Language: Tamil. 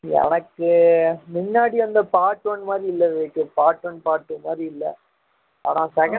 எனக்கு முன்னாடி வந்த part one மாதிரி இல்ல Vivek part one part two மாதிரி இல்ல ஆனா second half நல்லா இருந்துச்சு அப்புறம் climax ரொம்ப பிடிச்சிருந்துச்சு உனக்கு பிடிச்சிருந்ததா